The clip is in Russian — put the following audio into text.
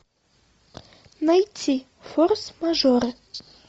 найти форс мажоры